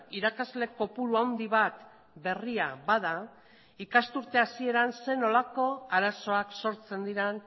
irakasle kopuru handi bat berria bada ikasturte hasieran zer nolako arazoak sortzen diren